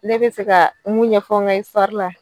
Ne bɛ fɛ ka mun ɲɛfɔ n ka la.